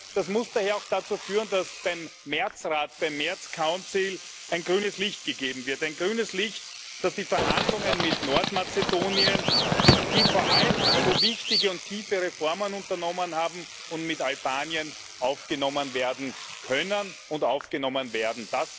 Das muss daher auch dazu führen, dass beim März Rat ein grünes Licht gegeben wird ein grünes Licht, dass die Verhandlungen mit Nordmazedonien, das vor allem so wichtige und tiefe Reformen unternommen hat, und mit Albanien aufgenommen werden können und aufgenommen werden.